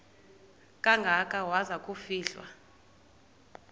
kangaka waza kufihlwa